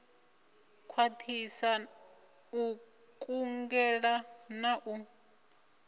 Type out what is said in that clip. khwathisa u kungela na u